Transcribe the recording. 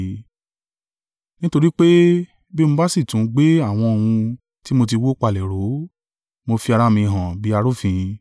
Nítorí pé bí mo bá sì tún gbé àwọn ohun tí mo tí wó palẹ̀ ró, mo fi ara mi hàn bí arúfin.